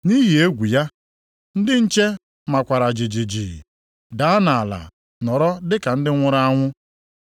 Nʼihi egwu ya, ndị nche makwara jijiji. Daa nʼala nọrọ dị ka ndị nwụrụ anwụ.